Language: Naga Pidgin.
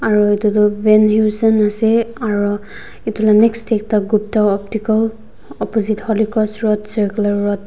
aro etu tu vanheusen ase aro etu la next de ekta gupta optical opposite holy cross road circular road.